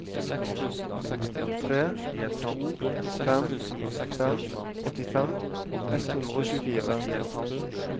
tre to fem fem åttifem ett hundre og tjuefire